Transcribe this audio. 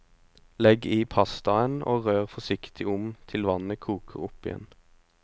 Legg i pastaen og rør forsiktig om til vannet koker opp igjen.